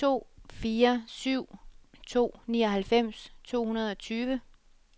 to fire syv to nioghalvfems to hundrede og tyve